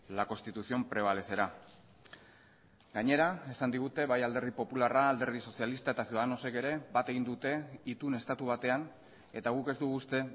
la constitución prevalecerá gainera esan digute bai alderdi popularra alderdi sozialista eta ciudadanos ek ere bat egin dute itun estatu batean eta guk ez dugu uste